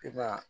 I b'a